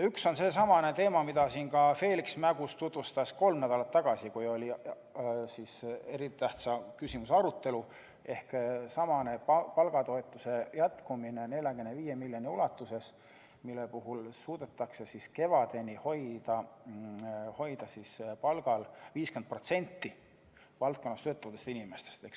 Üks on teema, mida Feliks Mägus tutvustas siin kolm nädalat tagasi, kui oli eriti tähtsa küsimuse arutelu: see on palgatoetuse jätkumine 45 miljoni ulatuses, mille puhul suudetaks kevadeni hoida palgal 50% valdkonnas töötavatest inimestest.